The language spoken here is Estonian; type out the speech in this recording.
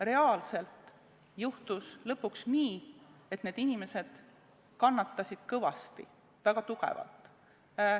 Reaalselt juhtus lõpuks nii, et needsamad inimesed kannatasid kõvasti, väga tugevalt.